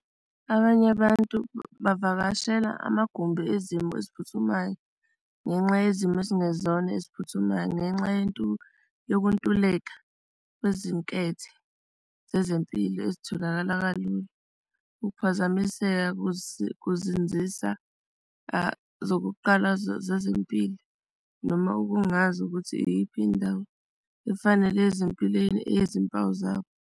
Abanye abantu bevakashela amagumbi ezimo eziphuthumayo ngenxa yezimo ezingezona eziphuthumayo ngenxa yokuntuleka kwezinkethe zezempilo ezitholakala kalula ukuphazamiseka kuzinzisa zokuqala zezempilo noma ukungazi ukuthi iyiphi indawo efanele ezimpilweni eyezimpawu zabo.